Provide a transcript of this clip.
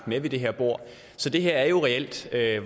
med ved det her bord så det her er jo reelt